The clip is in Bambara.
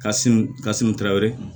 Ka sun ka sunu tɛrɛ